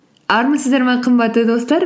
армысыздар ма қымбатты достар